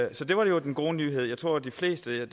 det var jo den gode nyhed jeg tror at de fleste